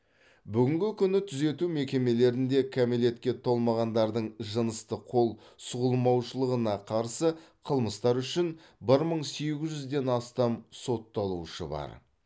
бүгінгі күні түзету мекемелерінде кәмелетке толмағандардың жыныстық қол сұғылмаушылығына қарсы қылмыстар үшін бір мың сегіз жүзден астам сотталушы бар